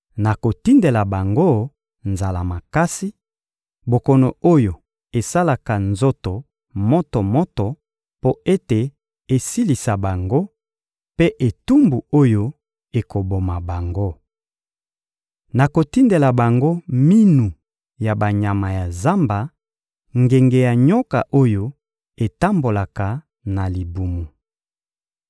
Nakotindela bango nzala makasi, bokono oyo esalaka nzoto moto-moto mpo ete esilisa bango, mpe etumbu oyo ekoboma bango. Nakotindela bango minu ya banyama ya zamba, ngenge ya nyoka oyo etambolaka na libumu.